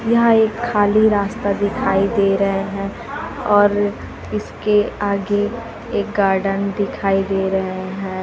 यह एक खाली रास्ता दिखाई दे रहे हैं और इसके आगे एक गार्डन दिखाई दे रहे हैं।